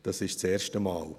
Das ist das erste Mal.